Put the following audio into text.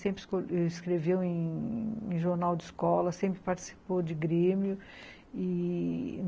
Sempre escreveu em jornal de escola, sempre participou de grêmio e...